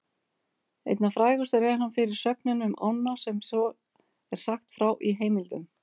Einna frægastur er hann fyrir sögnina um ána sem svo er sagt frá í heimildum: